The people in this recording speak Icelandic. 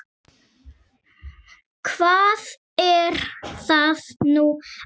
Hvað er það nú aftur?